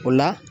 O la